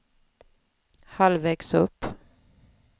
halvvägs upp